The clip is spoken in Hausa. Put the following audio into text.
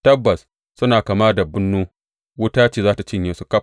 Tabbas suna kama da bunnu; wuta za tă cinye su ƙaf.